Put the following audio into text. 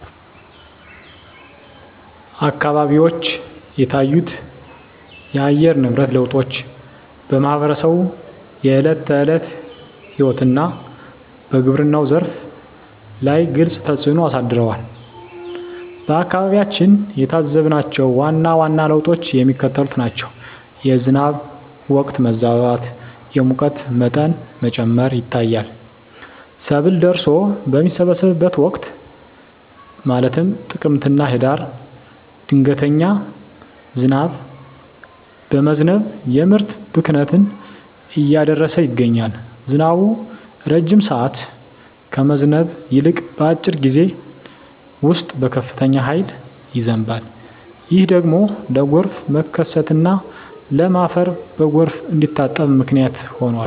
አካባቢዎች የታዩት የአየር ንብረት ለውጦች በማኅበረሰቡ የዕለት ተዕለት ሕይወትና በግብርናው ዘርፍ ላይ ግልጽ ተፅእኖ አሳድረዋል። በአካባቢያችን የታዘብናቸው ዋና ዋና ለውጦች የሚከተሉት ናቸው፦ የዝናብ ወቅት መዛባት፣ የሙቀት መጠን መጨመር ይታያል። ሰብል ደርሶ በሚሰበሰብበት ወቅት (ጥቅምትና ህዳር) ድንገተኛ ዝናብ በመዝነብ የምርት ብክነትን እያደረሰ ይገኛል። ዝናቡ ረጅም ሰዓት ከመዝነብ ይልቅ፣ በአጭር ጊዜ ውስጥ በከፍተኛ ኃይል ይዘንባል። ይህ ደግሞ ለጎርፍ መከሰትና ለም አፈር በጎርፍ እንዲታጠብ ምክንያት ሆኗል።